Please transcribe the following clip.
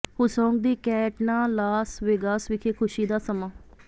ਹੁਸੋਂਗ ਦੀ ਕੈਂਟਨਾ Las Vegas ਵਿਖੇ ਖੁਸ਼ੀ ਦਾ ਸਮਾਂ